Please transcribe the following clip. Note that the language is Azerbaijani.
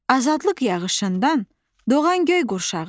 Azadlıq yağışından doğan göy qurşağıdır.